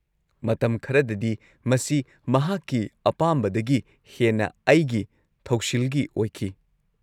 ꯃꯇꯝ ꯈꯔꯗꯗꯤ ꯃꯁꯤ ꯃꯍꯥꯛꯀꯤ ꯑꯄꯥꯝꯕꯗꯒꯤ ꯍꯦꯟꯅ ꯑꯩꯒꯤ ꯊꯧꯁꯤꯜꯒꯤ ꯑꯣꯏꯈꯤ꯫